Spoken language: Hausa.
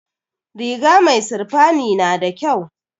Riga mai sirfani nada kyau